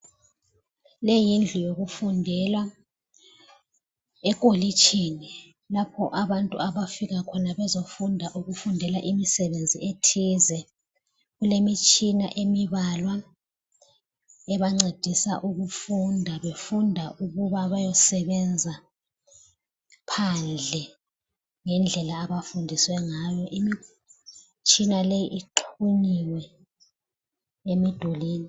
Leyi yindlu yokufundela ekolitshini, lapha abantu abafika khona bezofunda ukufundela imisebenzi ethize , kulemitshina emibalwa ebancedisa ukufunda, befunda ukuba bayesebenza phandle ngendlela abafundiswe ngayo, imitshina leyi ixhunyiwe emidulini